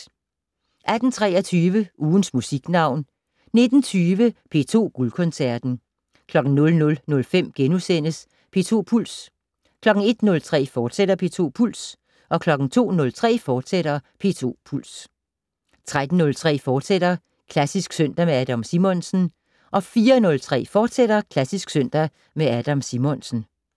18:23: Ugens Musiknavn 19:20: P2 Guldkoncerten 00:05: P2 Puls * 01:03: P2 Puls, fortsat 02:03: P2 Puls, fortsat 03:03: Klassisk søndag med Adam Simonsen * 04:03: Klassisk søndag med Adam Simonsen, fortsat